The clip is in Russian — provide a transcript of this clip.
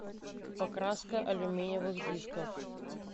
покраска алюминиевых дисков